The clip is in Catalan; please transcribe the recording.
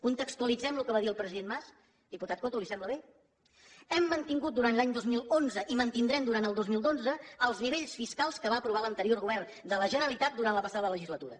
contextualitzem el que va dir el president mas diputat coto li sembla bé hem mantingut durant l’any dos mil onze i mantindrem durant el dos mil dotze els nivells fiscals que va aprovar l’anterior govern de la generalitat durant la passada legislatura